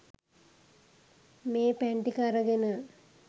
මේ පැන් ටික අරගෙන